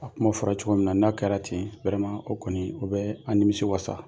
A kuma fɔra cogo min na n'a kɛra ten o kɔni o bɛ an nimisi wasa